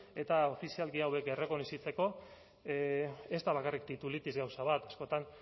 eta ofizialki hauek errekonozitzeko ez da bakarrik titulitis gauza bat askotan